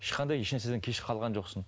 ешқандай ешнәрседен кеш қалған жоқсың